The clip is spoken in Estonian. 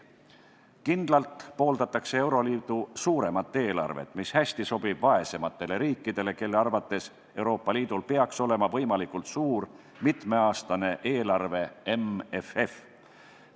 Kindlalt pooldatakse euroliidu suuremat eelarvet, mis hästi sobib vaesematele riikidele, kelle arvates Euroopa Liidul peaks olema võimalikult suur mitmeaastane eelarve MFF.